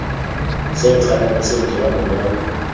se nkganang se nthola morwalo